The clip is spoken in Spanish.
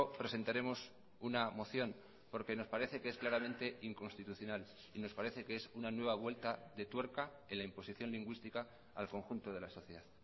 presentaremos una moción porque nos parece que es claramente inconstitucional y nos parece que es una nueva vuelta de tuerca en la imposición lingüística al conjunto de la sociedad